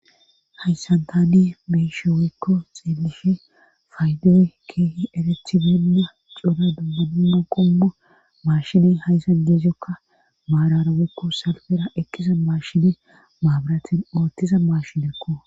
haysantani beeshe woykko xeellishe faydoy keehi erethibinda coda dubbudumma qommu maashiney haysa jeezjokka maarara woykko salfera ekkisa maashine maabaratin oothtiza maashinekko